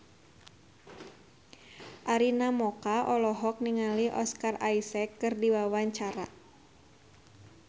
Arina Mocca olohok ningali Oscar Isaac keur diwawancara